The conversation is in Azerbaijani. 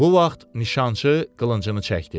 Bu vaxt nişançı qılıncını çəkdi.